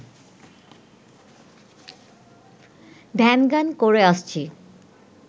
ধ্যান-জ্ঞান করে আসছি